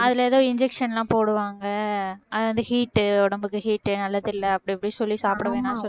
அதுல ஏதோ injection லாம் போடுவாங்க அது வந்து heat உ உடம்புக்கு heat உ நல்லதில்லை அப்படி இப்படி சொல்லி சாப்பிடவேணாம்